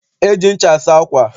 E ji ncha asa ákwà.